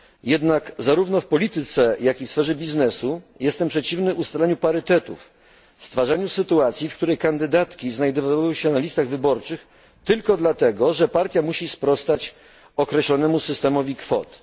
Jednak zarówno w polityce, jak i sferze biznesu, jestem przeciwny ustaleniu parytetów stwarzaniu sytuacji, w której kandydatki znajdowałyby się na listach wyborczych tylko dlatego, że partia musi sprostać określonemu systemowi kwot.